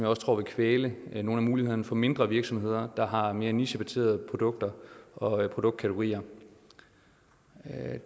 også tror vil kvæle nogle af mulighederne for mindre virksomheder der har mere nichebaserede produkter og produktkategorier